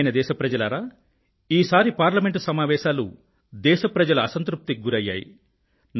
ప్రియమైన నా దేశ ప్రజలారా ఈసారి పార్లమెంట్ సమావేశాలు దేశ ప్రజల అసంతృప్తికి గురయ్యాయి